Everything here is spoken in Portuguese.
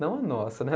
Não a nossa, né?